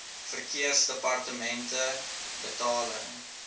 verkeersdepartementebetaling